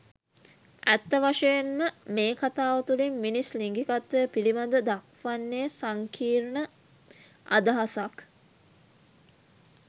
ඇත්ත වශයෙන්ම මේ කථාව තුළින් මිනිස් ලිංගිකත්වය පිළිබඳ දක්වන්නේ සංකීර්ණ අදහසක්.